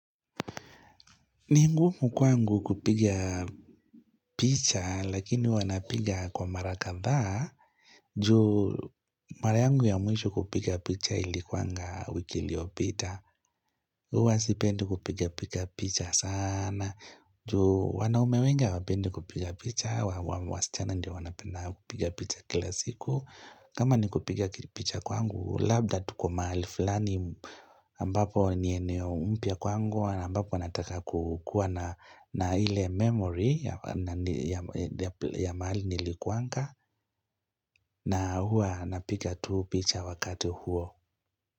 Ni ngumu kwangu kupiga picha, lakini huwa napiga kwa mara kadhaa, juu mara yangu ya mwisho kupiga picha ilikuanga wiki liyopita. Huwa sipendi kupiga picha sana, juu wanaume wengi hawapendi kupiga picha, wasichana ndio wanapenda kupiga picha kila siku. Kama ni kupiga picha kwangu, labda tuko mahali fulani ambapo ni eneo mpya kwangu na ambapo nataka kukua na ile memory ya mahali nilikuanga na hua napiga tu picha wakati huo.